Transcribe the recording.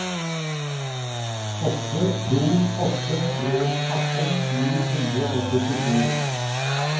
åtte to åtte tre atten ni hundre og syttisju